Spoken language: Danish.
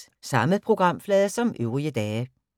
Samme programflade som øvrige dage